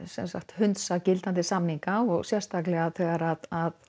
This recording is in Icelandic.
hundsa samninga sérstaklega þegar